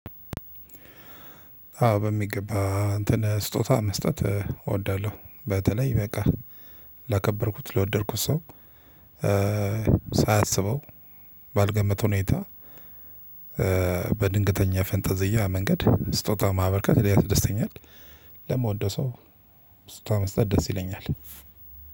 አዎ በሚገባ እንትን ስጦታ መስጠት እወዳለው በተለይ በቃ ላከበርኩት ለወደድኩት ሰው ሳያሰበው ባልገመተው ሁኔታ በድንገተኛ ፈንጠዝያ መንገድ ስጦታ ማበርከት ያስደስተኛል። ለመወደው ሰው ስጦታ መስጠት ደስ ይለኛል።